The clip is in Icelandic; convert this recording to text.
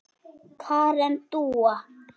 Karen Dúa.